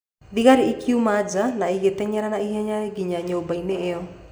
Thigari ĩkiuma nja na ĩgĩteng'era na ihenya nginya nyũmba-inĩ ĩyo.